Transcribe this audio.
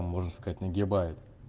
можно сказать нагибает